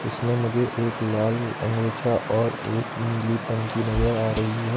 इसमें मुझे एक लाल अंगोछा और एक नीली टंकी नजर आ रही है।